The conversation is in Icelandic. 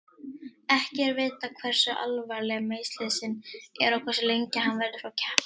Ekki er vitað hversu alvarleg meiðslin eru og hversu lengi hann verður frá keppni.